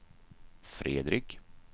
Fredrik